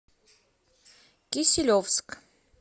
киселевск